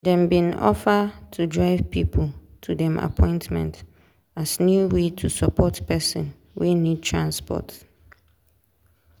dem bin offer to drive pipo to dem appointment as new way to support person wey need transport.